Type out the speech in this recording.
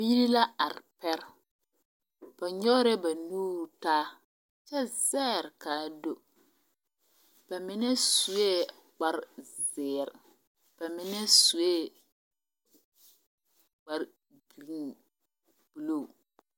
Biiri la are pɛre. Ba nyɔgerɛɛ ba nuuri taa, kyɛ zɛɛr kaa do. Ba mine sue kparezeere ba mine sue kpare bilii buluu